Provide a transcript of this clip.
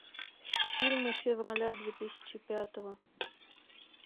фильмы февраля две тысячи пятого